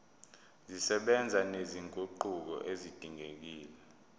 zisebenza nezinguquko ezidingekile